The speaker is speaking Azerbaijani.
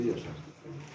Hamı bir yaşasın.